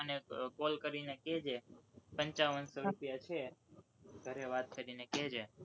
મને call કરીને કહેજે, પંચાવન સો રૂપિયા છે, ઘરે વાત કરીને કેજે.